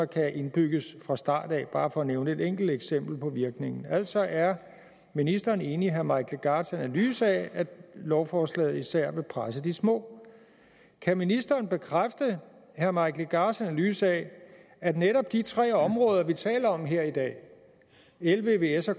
kan indbygges fra starten bare for at nævne et enkelt eksempel på virkningen altså er ministeren enig i herre mike legarths analyse af at lovforslaget især presser de små kan ministeren bekræfte at herre mike legarths analyse af at netop de tre områder vi taler om her i dag el vvs og